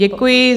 Děkuji.